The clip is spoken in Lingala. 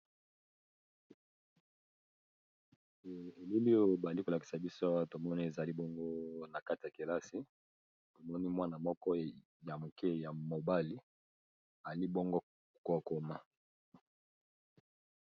Eleli oyo bali kolakisa biso yawa tomoni ezali bongo na kati ya kelasi tomoni mwana moko ya moke ya mobali ali bongo kookoma.